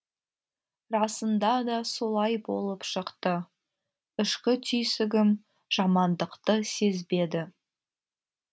расында да солай болып шықты ішкі түйсігім жамандықты сезбеді